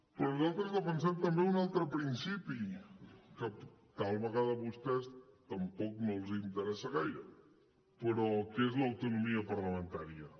però nosaltres defensem també un altre principi que tal vegada a vostès tampoc no els interessa gaire però que és l’autonomia parlamentària